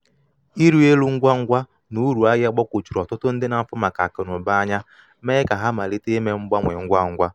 ịrị elu ngwa ngwa na uru ahịa ahịa gbagwojuru ọtụtụ ndị n'afu maka akụ na uba anya mee ka ha malite ime mgbanwe ngwa ngwa.